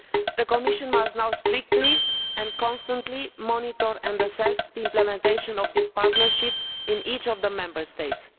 The Commission must now strictly and constantly monitor and assess the implementation of this partnership in each of the Member States.